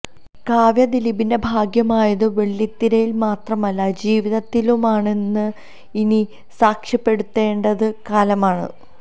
കാവ്യ ദിലീപിന്റെ ഭാഗ്യമായത് വെള്ളിത്തിരയില് മാത്രമല്ല ജീവിതത്തിലുമാണെന്ന് ഇനി സാക്ഷ്യപ്പെടുത്തേണ്ടത് കാലമാണ്